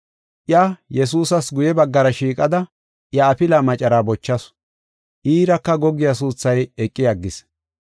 Iya Yesuusas guye baggara shiiqada, iya afilaa macaraa bochasu, iiraka goggiya suuthay eqi aggis.